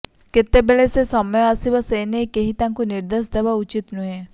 କେତେବେଳେ ସେ ସମୟ ଆସିବ ସେ ନେଇ କେହି ତାଙ୍କୁ ନିର୍ଦ୍ଦେଶ ଦେବା ଉଚିତ୍ ନୁହେଁ